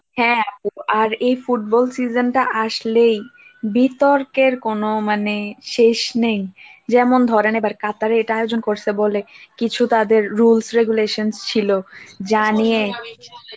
হ্যাঁ আপু আর এই এই football season টা আসলেই বিতর্কের কোন মানে শেষ নেই যেমন ধরেন এবার কাতারে এটা আয়োজন করছে বলে কিছু তাদের rules regulations ছিল যা নিয়ে,